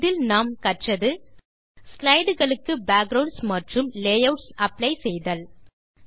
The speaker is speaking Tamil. இதில் நாம் கற்றது ஸ்லைடு களுக்கு பேக்குரவுண்ட்ஸ் மற்றும் லேயூட்ஸ் அப்ளை செய்தல்